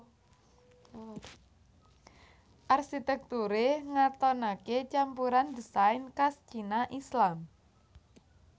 Arsitekture ngatonake campuran désain kas Cina Islam